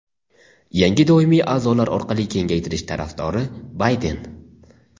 yangi doimiy aʼzolar orqali kengaytirish tarafdori – Bayden.